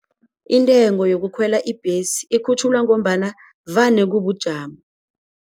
Intengo yokukhwela ibhesi ikhutjhulwa ngombana vane kubujamo.